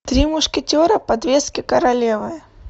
три мушкетера подвески королевы